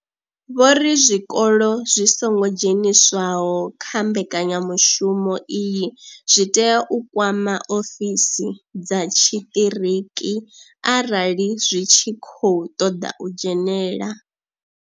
Vho ri zwikolo zwi songo dzheniswaho kha mbekanya mushumo iyi zwi tea u kwama ofisi dza tshiṱiriki arali zwi tshi khou ṱoḓa u dzhenela.